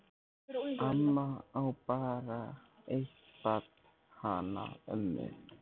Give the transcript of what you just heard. Amma á bara eitt barn, hana mömmu.